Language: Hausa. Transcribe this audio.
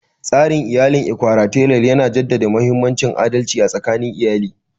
Tsarin iyalin Ikwalateral yana jaddada mahimmancin adalci a tsakanin iyali.